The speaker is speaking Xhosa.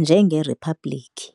njengeriphabliki.